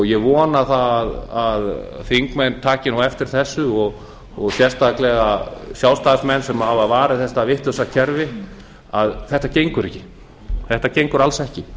ég vona að þingmenn taki nú eftir þessu og sérstaklega sjálfstæðismenn sem hafa varið þetta vitlausa kerfi að þetta gengur ekki þetta gengur alls ekki